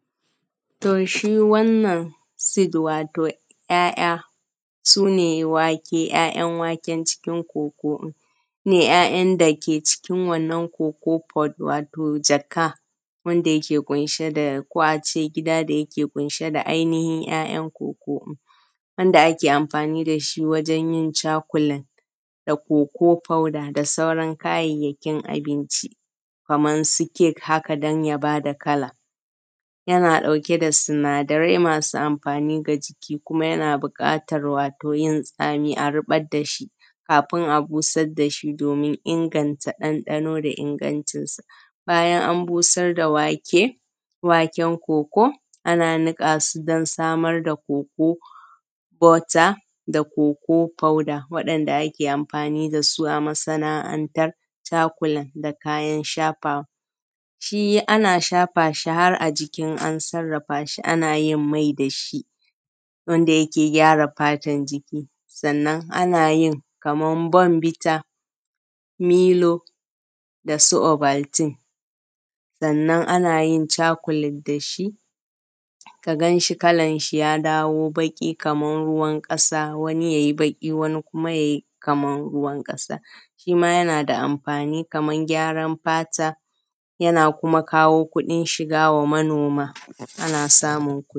To shi wannan seed wato ‘ya’ya, su ne wake ‘ya’yan waken cikin koko din, su ne ‘ya’yan dake jikin wannan koko pot wato jaka wanda yake kunshe da ko ace gida da yake ƙunshe da ainihin ‘ya’yan koko, wanda ake amfani dashi wajen yin cakulen da koko foda da sauran kayayyakin abinci, kaman su kek haka don ya bada kala, yana ɗauke da sinadarai masu amfani ga jiki kuma yana buƙatan yin tsami a rubar dashi kafin a busar dashi domin inganta ɗanɗano da ingancinsa. Bayan an busar da wake, waken koko ana nukasu don samar da koko bota da koko foda waɗanda ake amfani dasu a masa’antar cakulen da kayan shafawa. Shi ana shafa shi har a jiki in an sarrafa shi, ana yin mai dashi, wanda yake gyara fatan jiki. Sannan ana yin kaman bombita, milo dasu obaltin. Sannan ana yin cakulen dashi, ka ganshi kalan shi ya dawo baki kaman ruwan ƙasa, wani yayi baki, wani yayi kaman ruwan ƙasa. Shima yana da amfani kaman gyaran fata, yana kuma kawo kuɗin shiga wa manoma, ana samun kuɗi.